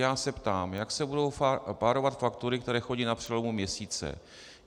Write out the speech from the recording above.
Já se ptám, jak se budou párovat faktury, které chodí na přelomu měsíce?